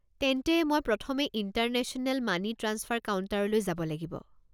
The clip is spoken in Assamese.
তেন্তে, মই প্ৰথমে ইণ্টাৰনেশ্যনেল মানি ট্ৰাঞ্চফাৰ কাউণ্টাৰলৈ যাব লাগিব?